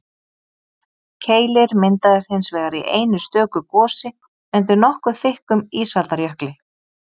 Keilir myndaðist hins vegar í einu stöku gosi undir nokkuð þykkum ísaldarjökli.